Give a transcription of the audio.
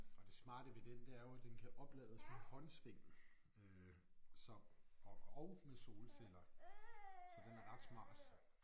Og det smarte ved den det er jo at den kan oplades med håndsving øh så og og med solceller. Så den er ret smart